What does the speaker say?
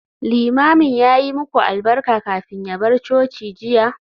Limamin ya yi muku albarka kafin ya bar coci jiya?